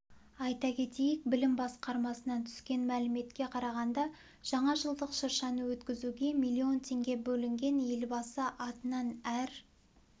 айта кетейік білім басқармасынан түскен мәліметке қарағанда жаңажылдық шыршаны өткізуге миллион теңге бөлінген елбасы атынан әр